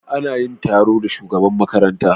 Ana yin taro a shugaban makaranta.